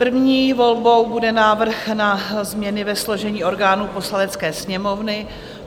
První volbou bude návrh na změny ve složení orgánů Poslanecké sněmovny.